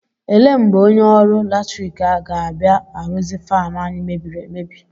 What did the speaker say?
Ele mgbe onye ọrụ latrik ahụ ga-abịa arụzi faanụ anyị mebiri emebi?